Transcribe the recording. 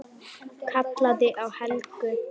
Kallaði á Helgu.